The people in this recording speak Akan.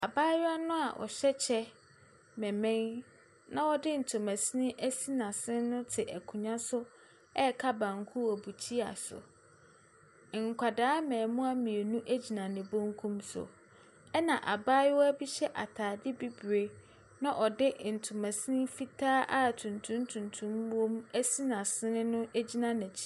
Abaayewa no a ɔhyɛ kyɛ bɛmmɛn na ɔde ntoma sisi asi n’asene te nkonnwa so ɛresa banku. Nkwadaa mmaamua mmienu gyina ne bankum so. Na abaayewa bi hyɛ ataade bibire na ɔde ntoma sini fitaa a tuntum tuntum wɔ mu asi n’asene no gyina ne nkyɛn.